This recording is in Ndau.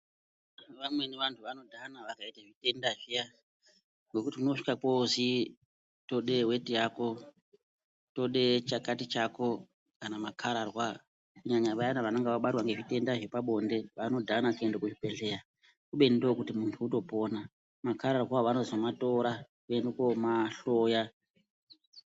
Vamweni vantu vanodhana vakaita zvitenda zviyana ngokuti zvinosvika zvonzi toda weti Yako today chakati chako kana makararwa kunyanya Vaya vanenge vabatwa nezvitenda zvepabonde vanodhana kuenda kuchibhedhlera ubeni ndokuti muntu atopona makararwa vanoenda kuzomatora vomahloya.